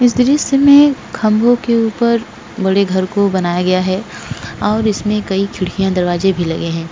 इस दृश्य में खम्बो के ऊपर बड़े घर को बनाया गया है और इसमें कई खिड़किया और दरवाजे भी लगे है।